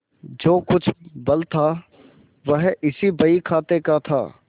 जो कुछ बल था वह इसी बहीखाते का था